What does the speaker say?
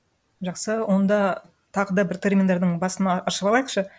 жақсы онда тағы да бір терминдардың басын ашывалайықшы